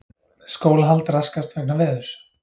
Skólahald raskast vegna veðurs